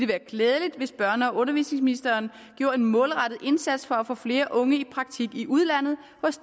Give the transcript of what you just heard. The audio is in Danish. være klædeligt hvis børne og undervisningsministeren gjorde en målrettet indsats for at få flere unge i praktik i udlandet